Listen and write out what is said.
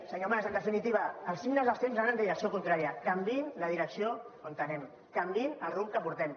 senyor mas en definitiva el signe dels temps van en direcció contrària canviïn la direcció on anem canviïn el rumb que portem